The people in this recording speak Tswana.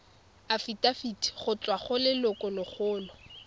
afitafiti go tswa go lelokolegolo